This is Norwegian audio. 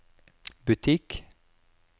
butikk